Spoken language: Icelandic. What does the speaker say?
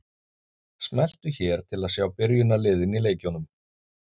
Smelltu hér til að sjá byrjunarliðin í leikjunum.